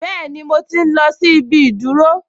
Bẹ́ẹ̀ni, mo tí n lọ sí ibi ìdúró